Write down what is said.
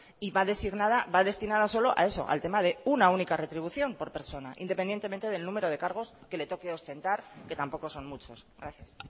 y va destinada al tema de una única retribución por persona independientemente del número de cargos que le toque ostentar que tampoco son muchos gracias